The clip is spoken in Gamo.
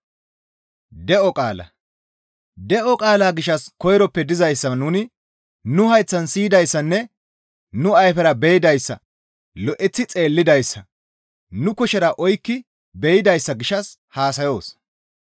De7o qaala gishshas koyroppe dizayssa nuni nu hayththan siyidayssanne nu ayfera be7idayssa lo7eththi xeellidayssa, nu kushera oykki be7idayssa gishshas haasayoos.